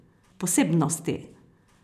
Posebnosti?